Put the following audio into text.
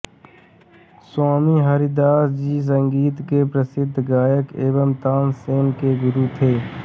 स्वामी हरिदास जी संगीत के प्रसिद्ध गायक एवं तानसेन के गुरु थे